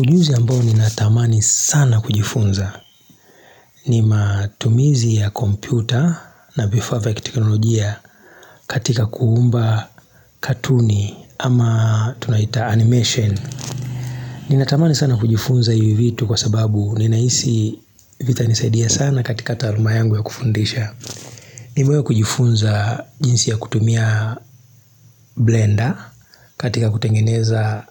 Ujuzi ambao ninatamani sana kujifunza ni matumizi ya kompyuta na vifaa vya kiteknolojia katika kuumba katuni ama tunaita animation. Ninatamani sana kujifunza hivi vitu kwa sababu ninaisi vitanisaidia sana katika taaluma yangu ya kufundisha. Niwewe kujifunza jinsi ya kutumia blender katika kutengeneza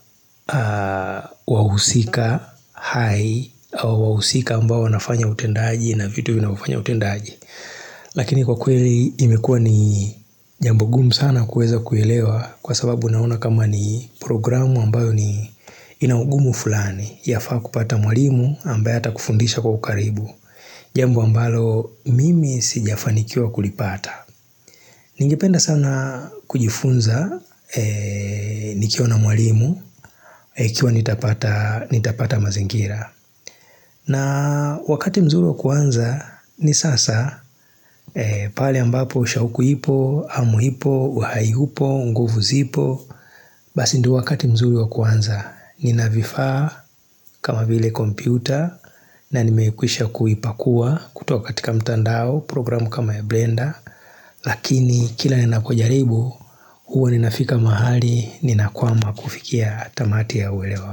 wahusika, high, au wahusika ambao wanafanya utendaji na vitu vinavyofanya utendaji. Lakini kwa kweli imekua ni jambo gumu sana kueza kuelewa kwa sababu naona kama ni programu ambayo ni inaugumu fulani yafaa kupata mwalimu ambaye atakufundisha kwa ukaribu. Jambo ambalo mimi sijafanikiwa kulipata Ningependa sana kujifunza nikiwa na mwalimu kiwa nitapata nitapata mazingira. Na wakati mzuri wa kuanza ni sasa pale ambapo ushauku ipo, hamu ipo, uhai upo, nguvu zipo Basi ndo wakati mzuri wa kuanza. Nina vifaa kama vile kompyuta na nimeikwisha kuipakua kutoka katika mtandao, programu kama ya Blender lakini kila ninapojaribu huwa ninafika mahali nina kwama kufikia tamati ya uelewa.